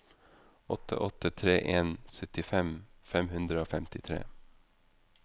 åtte åtte tre en syttifem fem hundre og femtitre